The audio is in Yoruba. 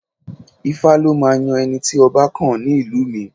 Ifá ló máa ń yan ẹni tí ọba kàn ní ìlú mi